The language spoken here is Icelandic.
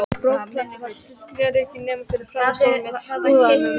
Borðplatan var hulin ryki, nema fyrir framan stólinn með púðanum.